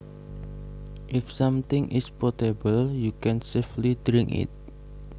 If something is potable you can safely drink it